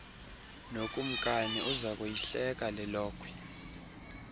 nokumkani uzakuyihleka lelokhwe